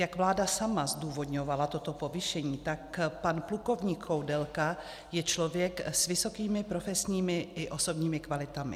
Jak vláda sama zdůvodňovala toto povýšení, tak pan plukovník Koudelka je člověk s vysokými profesními i osobními kvalitami.